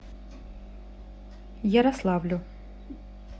ярославлю